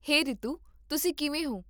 ਹੇ ਰੀਤੂ, ਤੁਸੀਂ ਕਿਵੇਂ ਹੋ?